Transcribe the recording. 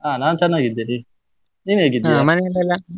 ಅಹ್ ನಾನ್ ಚೆನ್ನಾಗಿದ್ದೇನೆ, ನೀನ್